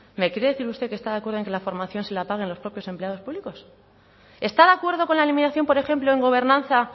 me quiere decir usted que está de acuerdo en que la formación se la paguen los propios empleados públicos está de acuerdo con la eliminación por ejemplo en gobernanza